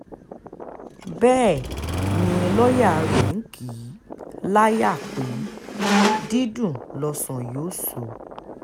bẹ́ẹ̀ ni lọ́ọ̀yà rẹ̀ ń kì í láyà pé dídùn lọ́sàn yóò sọ